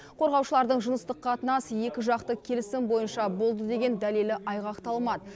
қорғаушылардың жыныстық қатынас екіжақты келісім бойынша болды деген дәлелі айғақталмады